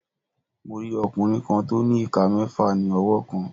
Mo rí ọkùnrin kan tó ní ìka mẹ́ẹ̀fà ní ọwọ́ kan.